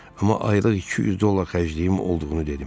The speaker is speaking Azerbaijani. Amma aylıq 200 dollar xərcliyim olduğunu dedim.